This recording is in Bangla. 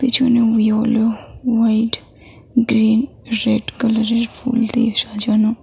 পিছনেও ইয়োলো হোয়াইট গ্রীন রেড কালারের ফুল দিয়ে সাজানো।